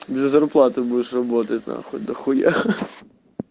без зарплаты будешь работать на нахуй дохуя